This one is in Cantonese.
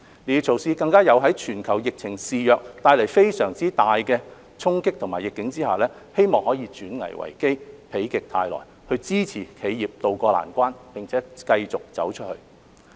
這些措施更在全球疫情肆虐、帶來非常大的衝擊和逆境之下，希望可以轉危為機，否極泰來，支持企業渡過難關，並且繼續"走出去"。